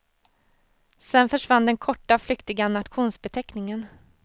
Sen försvann den korta, flyktiga nationsbeteckningen.